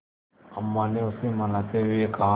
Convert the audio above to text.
अम्मा ने उसे मनाते हुए कहा